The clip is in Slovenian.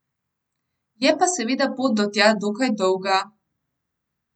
Je pa seveda pot do tja dokaj dolga.